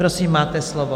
Prosím, máte slovo.